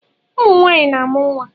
Ụmụnwanyị na-amụ nwa